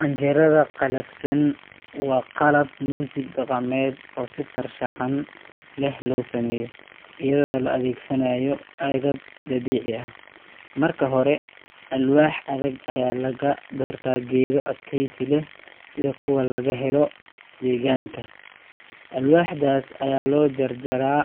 Canjerada qalafsan waa qalab muusig dhaqameed oo si farshaxan leh loo sameeyo, iyadoo la adeegsanayo agab dabiici ah. Marka hore, alwaax adag ayaa laga doortaa geedo adkaysi leh sida kuwa laga helo deegaanka. Alwaaxdaas ayaa loo jarjaa